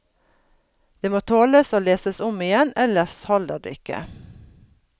Det må tåles å leses om igjen, ellers holder det ikke.